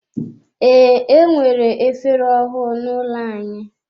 Ee, enwere efere ọhụụ n'ụlọ anyị.